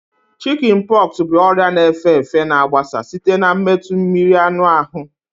Shikin poxu bụ ọrịa na efe efe na agbasa site na metụ mmiri anụ ahụ